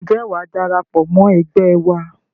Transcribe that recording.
Ǹjẹ́ wàá darapọ̀ mọ́ ẹgbẹ́ wa?